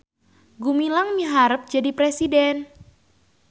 Gumilang miharep jadi presiden